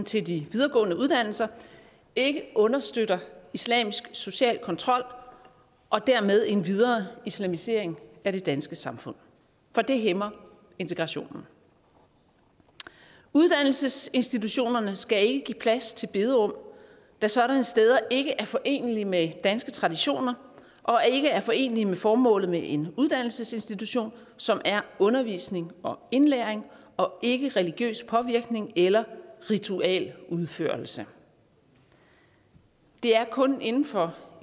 til de videregående uddannelser ikke understøtter islamisk social kontrol og dermed en videre islamisering af det danske samfund for det hæmmer integrationen uddannelsesinstitutionerne skal ikke give plads til bederum da sådanne steder ikke er forenelige med danske traditioner og ikke er forenelige med formålet med en uddannelsesinstitution som er undervisning og indlæring og ikke religiøs påvirkning eller ritualudførelse det er kun inden for